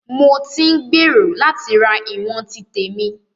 Mo tí ń gbèrò láti ra ìwọ̀n ti tèmi.